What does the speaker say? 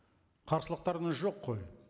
қарсылықтарыңыз жоқ қой